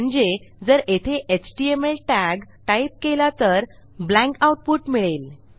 म्हणजे जर येथे एचटीएमएल tagटाईप केला तर ब्लँक आऊटपुट मिळेल